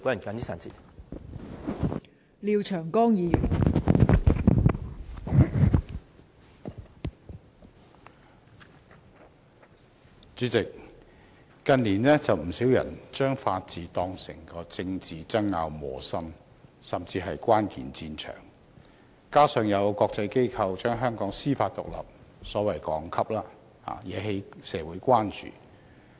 代理主席，近年有不少人把法治當成政治爭拗的磨心，甚至是關鍵戰場，加上有國際機構降低香港司法獨立的所謂排名，惹起社會關注。